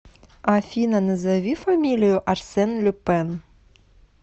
афина назови фамилию арсен люпен